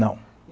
Não.